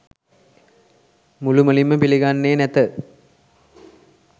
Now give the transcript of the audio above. මුළුමනින්ම පිළිගන්නේ නැත